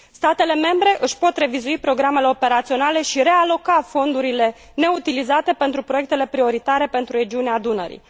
Statele membre își pot revizui programele operaționale și realoca fondurile neutilizate pentru proiectele prioritare pentru regiunea Dunării.